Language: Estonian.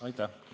Aitäh!